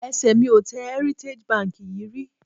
Ẹsẹ̀ mi ò tẹ Heritage Bank yìí rí